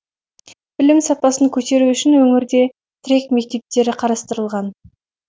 білім сапасын көтеру үшін өңірде тірек мектептері қарастырылған